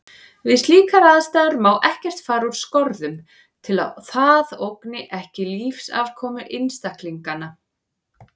Við slíkar aðstæður má ekkert fara úr skorðum til að það ógni ekki lífsafkomu einstaklinganna.